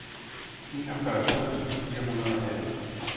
enogfyrre tusind fire hundrede og atten